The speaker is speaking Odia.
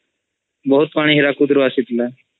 ବହୁତ୍ ପାଣି ହିରାକୁଦ୍ ରୁ ଆସିଥିଲା